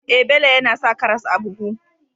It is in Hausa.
Eh, Bello yAna sa karas a buhu